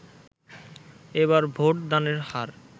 এবার ভোট দানের হার